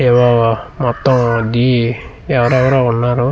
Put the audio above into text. ఏవేవో మొత్తం డి ఎవరెవరో ఉన్నారు .